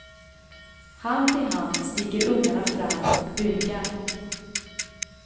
Hand i hand stiger ungarna fram och bugar.